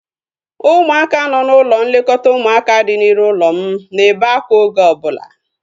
Ụmụaka nọ n'ụlọ nlekọta ụmụaka dị n'iru ụlọ m na-ebe akwa oge ọbụla